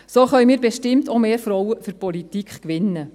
So können wir bestimmt auch mehr Frauen für die Politik gewinnen.